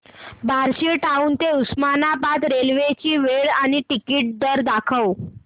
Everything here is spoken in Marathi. बार्शी टाऊन ते उस्मानाबाद रेल्वे ची वेळ आणि तिकीट दर दाखव